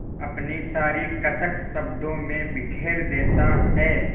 अपनी सारी कसक शब्दों में बिखेर देता है